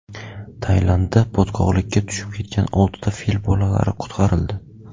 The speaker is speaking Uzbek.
Tailandda botqoqlikka tushib ketgan oltita fil bolalari qutqarildi .